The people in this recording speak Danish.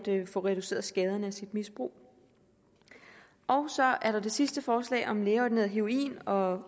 få reduceret skaderne af ens misbrug så er der det sidste forslag om lægeordineret heroin og